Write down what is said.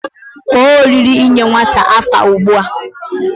Kpo oriri inye nwata afa ugbua